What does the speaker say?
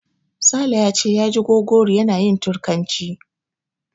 Sale ya ce ya ji Gogori yana yin Turkanci.